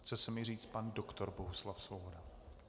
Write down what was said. Chce se mi říci pan doktor Bohuslav Svoboda.